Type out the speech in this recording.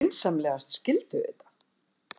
Vinsamlegast skildu þetta.